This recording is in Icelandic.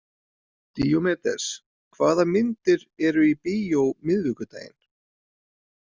Díómedes, hvað myndir eru í bíó miðvikudaginn?